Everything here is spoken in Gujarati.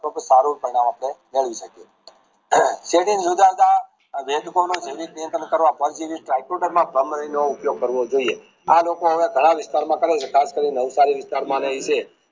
સારું પરિણામ હશે permanent ઉપયોગ કરવો જોઈએ આ લોકો હવે ઘણા વિસ્તારમાં ખાસ કરી નવસારીઃ વિસ્તારમાં રહે છે